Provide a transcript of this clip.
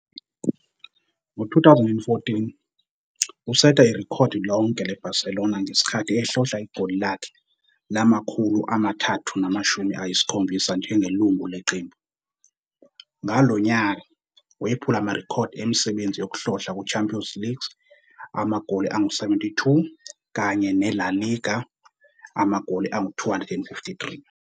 Ngo-2014, usetha irekhodi lonke leBarcelona ngesikhathi ehlohla igoli lakhe lama-370 njengelungu leqembu. Ngalo nyaka, wephula amarekhodi emisebenzi yokuhlohla kuChampions League, amagoli angu-72, kanye neLa Liga, amagoli angu-253.